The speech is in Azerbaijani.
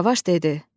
Qaravaş dedi: